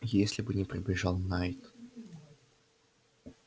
если бы не прибежал найд